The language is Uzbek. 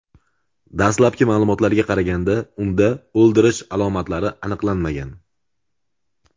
Dastlabki ma’lumotlarga qaraganda, unda o‘ldirish alomatlari aniqlanmagan.